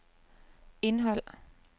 indhold